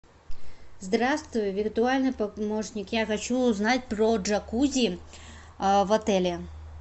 здравствуй виртуальный помощник я хочу узнать про джакузи в отеле